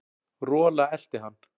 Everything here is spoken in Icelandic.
Rola elti hann.